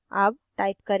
अब type करें